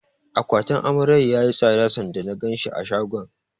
Akwatin Amaryar yayi tsada sanda na ganshi a shagon.